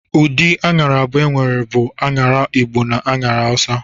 Ụdị aṅara abụọ enwere bụ aṅara Igbo na nke Awusa.